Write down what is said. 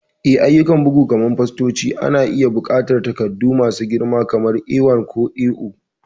Eh, ayyukan bugu kamar fastoci na iya buƙatar takardu masu girma kamar A1 ko A0.